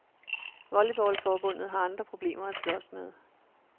Volleyballforbundet har andre problemer at slås med.